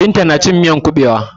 Binta na cin miyan kuɓewa.